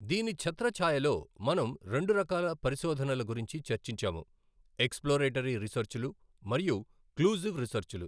దీని ఛత్రఛాయలో మనం రెండు రకాల పరిశోధనల గురించి చర్చించాము ఎక్స్ ప్లోరేటరీ రీసెర్చ్ లు మరియు క్లూజివ్ రీసర్చ్ లు.